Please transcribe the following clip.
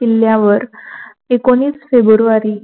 किल्यावर एकोनावीस फेब्रुवारी